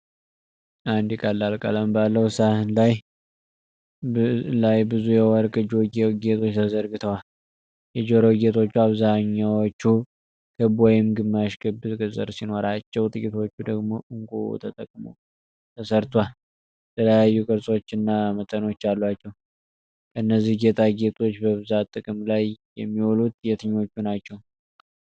አንድ ቀላል ቀለም ባለው ሳህን ላይ ብዙ የወርቅ ጆሮ ጌጦች ተዘርግተዋል። የጆሮ ጌጦቹ አብዛኛዎቹ ክብ ወይም ግማሽ ክብ ቅርጽ ሲኖራቸው ጥቂቶቹ ደግሞ ዕንቁ ተጠቅሞ ተሠርቷል። የተለያዩ ቅርፆችና መጠኖች አሏቸው። ከነዚህ ጌጣጌጦች በብዛት ጥቅም ላይ የሚውሉት የትኞቹ ናቸው?